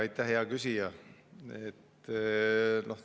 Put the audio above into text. Aitäh, hea küsija!